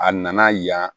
A nana yan